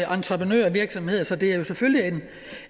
og entreprenørvirksomheder så det er jo selvfølgelig